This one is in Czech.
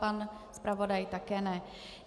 Pan zpravodaj také ne.